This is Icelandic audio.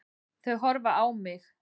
Þau horfa á mig.